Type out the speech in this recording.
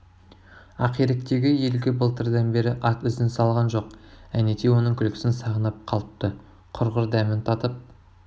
ақиректегі елге былтырдан бері ат ізін салған жоқ әнетей оның күлкісін сағынып қалыпты құрғыр дәмін татып